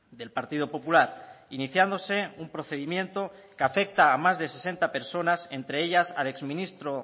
del partido popular iniciándose un procedimiento que afecta a más de sesenta personas entre ellas al exministro